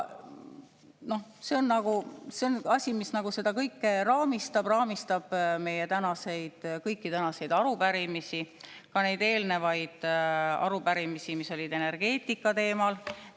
See on asi, mis seda kõike raamistab, raamistab meie kõiki tänaseid arupärimisi, ka eelnevat arupärimist, mis oli energeetikateemal.